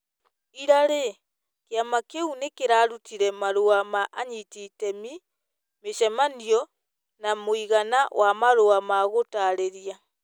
Ira rĩ, kĩama kĩu nĩ kĩrarutire marũa ma anyiti itemi, mĩcemanio na mũigana wa marũa ma gũtaarĩria,